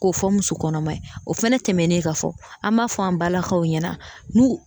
K'o fɔ muso kɔnɔma ye o fɛnɛ tɛmɛnen ka fɔ an m'a fɔ an balakaw ɲɛna n'u